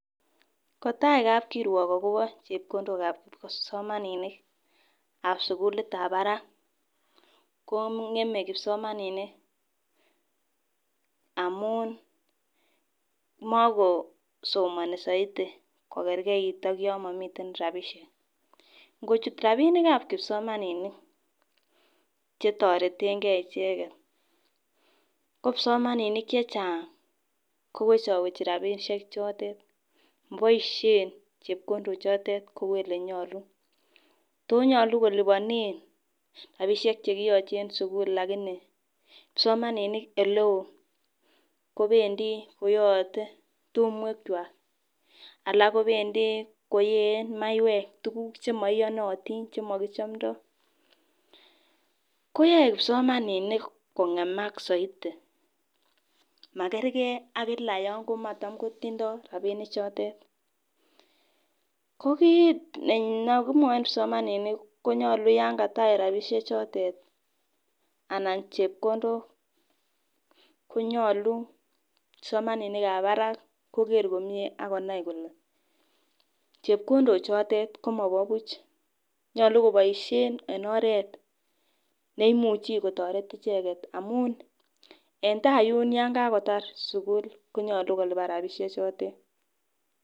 Kotai kapkirwok akopo chepkondok ap kipsomaninik ap sukulit ap barak ko ngemei kipsomaninik amun makosomoni zaidi kokerkeit ak yo momiiten rapishe ngechut ropinik ap kipsomaninik chetoretenkee icheket ko kipsomaninik che chang kowechowechi ropishek chotet boishe chepkondok chotet kou ole nyolu tonyolu kolipanee ropisiek chekiyachei eng sukul lakini kipsomaninik ole oo kopendi koyoyotei tumwek kwach alak kopendi koyeen maywek tukuuk chemaiyonotin chemaki chamdoi koyoe kipsomaninik kongemak zaidi makerkei ak kila yon komatindoi ropinik chotet ko kiit nekimwachin kipsomaninik konyolu yon katach ropishek chotet anan chepkondok konyolu kipsomaninik ap barak koker komie akonai kole chepkondok chotet komopo puch nyolu koboisie en oret neimuchei kotoret icheket amun en tai yun yankakotar sukul konyolu kolipan ropisiek chotet.